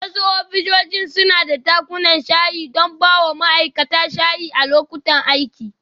Wasu ofisoshin suna da dakunan shayi don baiwa ma'aikata shayi a lokutan aiki.